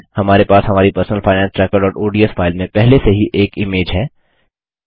हमारे पास हमारी personal finance trackerओडीएस फाइल में पहले से ही एक इमेज है